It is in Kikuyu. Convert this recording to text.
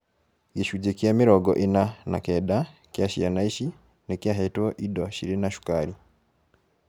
Gĩcunjĩ kĩa mĩrongo ĩna na kenda kĩa ciana ici nĩkĩahetwo indo cirĩ na cũkari